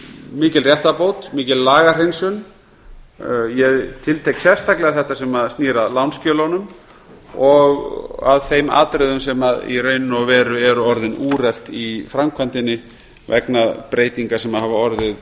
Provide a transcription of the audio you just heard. mikil réttarbót mikil lagahreinsun ég tiltek sérstaklega þetta sem snýr að lánsskjölunum að þeim atriðum sem í raun og veru eru orðin úrelt í framkvæmdinni vegna breytinga sem hafa orðið